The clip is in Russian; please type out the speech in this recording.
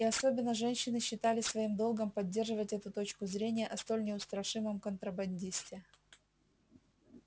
и особенно женщины считали своим долгом поддерживать эту точку зрения о столь неустрашимом контрабандисте